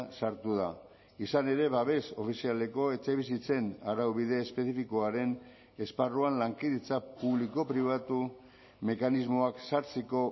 sartu da izan ere babes ofizialeko etxebizitzen araubide espezifikoaren esparruan lankidetza publiko pribatu mekanismoak sartzeko